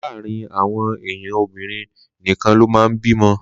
Láàárín àwọn èèyàn obìrin nìkan lo man bímọ